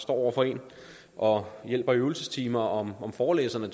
over for en og hjælper i øvelsestimer og forelæserne